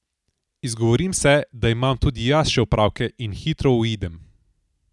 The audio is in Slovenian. Izgovorim se, da imam tudi jaz še opravke, in hitro uidem.